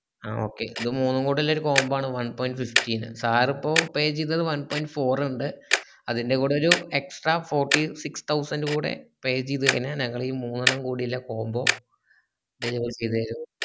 അഹ് okay ഇത് മൂന്നും കൂടെ ഇള്ളൊരു combo ആണ്‌ one point fifty ൻറെ sir ഇപ്പൊ pay ചെയ്തത് one point four ർ ന്റെ അതിന്റെ കൂടെ ഒരു extra fortysix thousand കൂടെ pay ചെയ്ത് കൈഞ്ഞാൽ ഞങ്ങൾ ഈ മൂന്നെണ്ണം കൂടെ ഇളള combo ക്ക് ചെയ്തേരും